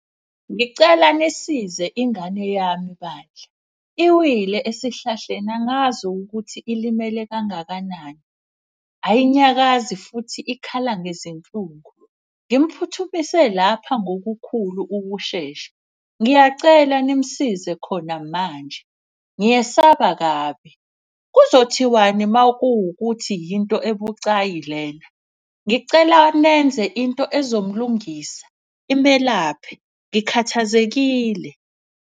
Ngicela nisize ingane yami bandla, iwile esihlahleni angazi ukuthi ilimele kangakanani. Ayinyakazi futhi ikhala ngezinhlungu, ngimphuthumise lapha ngokukhulu ukushesha. Ngiyacela nimusize khona manje, ngiyesaba kabi. Kuzothiwani makuwukuthi yinto ebucayi lena. Ngicela nenze into ezomlungisa, imelaphe. Ngikhathazekile.